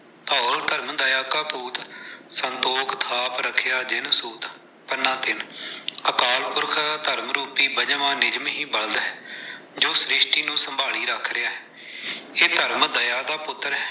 ਧੌਲ ਧਰਮ ਦਇਆ ਕਾ ਪੂਤ, ਸੰਤੋਖ ਥਾਪ ਰਖਿਆ ਜਿਨ ਸੂਤ ਪੰਨਾ-ਤਿੰਨ। ਅਕਾਲ ਪੁਰਖ ਧਰਮ ਰੂਪੀ ਪੰਜਵਾ ਨਿਯਮ ਹੀ ਬਲਦ ਹੈ। ਜੋ ਸ਼੍ਰਿਸ਼ਟੀ ਨੂੰ ਸੰਭਾਲੀ ਰੱਖ ਰਿਹਾ ਹੈ। ਇਹ ਧਰਮ ਦਇਆ ਦਾ ਪੁੱਤਰ ਹੈ।